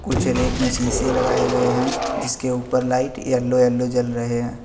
कुछ रैक में शीशे लगाए गए हैं जिसके ऊपर लाइट येलो येलो जल रहे हैं।